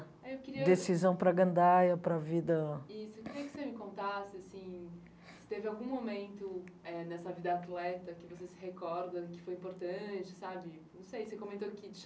Aí eu queria...Decisão para a gandaia, para a vida...Isso, eu queria que você me contasse, assim, se teve algum momento eh nessa vida atleta que você se recorda, que foi importante, sabe? Não sei, você comentou que